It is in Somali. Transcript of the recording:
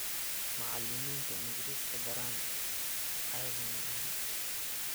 Macalimintaa Ingiriska baran ccadi maxan.